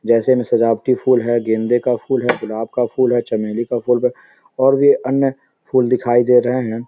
जैसे में सजावटी फूल है गेंदे का फूल है गुलाब का फूल है चमेली का फूल और भी अन्य फूल दिखाई दे रहे हैं।